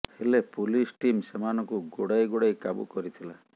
ହେଲେ police team ସେମାନଙ୍କୁ ଗୋଡ଼ାଇ ଗୋଡ଼ାଇ କାବୁ କରିଥିଲା